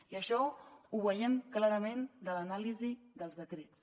i això ho veiem clarament de l’anàlisi dels decrets